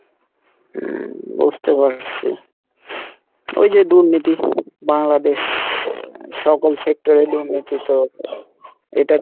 হম বুঝতে পারসি এইযে দুর্নীতি বাংলাদেশ এ সকল sector এ দুর্নীতি তো এটা,